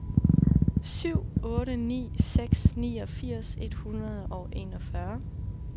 syv otte ni seks niogfirs et hundrede og enogfyrre